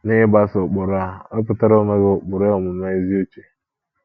N'ịgbaso ụkpụrụ a,wepụtara onwe gị ụkpụrụ omume ezi uche.